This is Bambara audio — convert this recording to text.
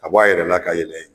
Ka bɔ a yɛrɛ la ka yɛlɛ